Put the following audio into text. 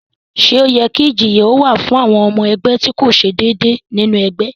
Ṣé ó yẹ kí ìjìyà ó wà fún ọmọ ẹgbẹ́ tí kò ṣe déédéé nínú ẹgbẹ́?